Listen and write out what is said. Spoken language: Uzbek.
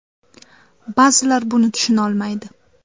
Ba’zilar buni tushunolmaydi.